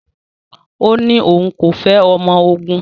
Ó ní òun kò fẹ́ ọmọ ogun